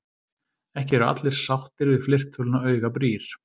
Ekki eru allir sáttir við fleirtöluna augabrýr.